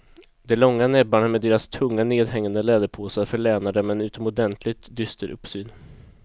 De långa näbbarna med deras tunga nedhängande läderpåsar förlänar dem en utomordentligt dyster uppsyn.